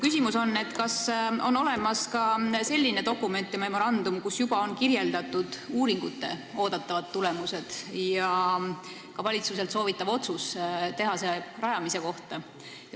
Kas on olemas ka selline dokument ja memorandum, kus on juba kirjeldatud uuringute oodatavaid tulemusi ja valitsuselt soovitavat otsust tehase rajamise kohta?